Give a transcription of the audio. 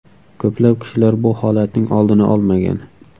Ko‘plab kishilar bu holatning oldini olmagan.